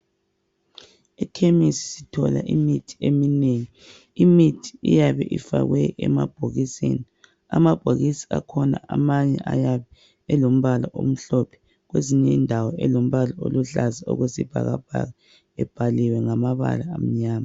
Ekhemisi sithola imithi eminengi. Imithi iyabe ifakwe emabhokisini, amabhokisi akhona amanye ayabe elombala omhlophe kwezinye indawo elombala oluhlaza okwesibhakabhaka ebhaliweyo ngamabala amnyama.